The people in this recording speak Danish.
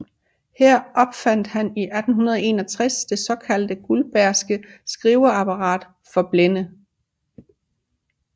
Her opfandt han i 1861 det såkaldte guldbergske skriveapparat for blinde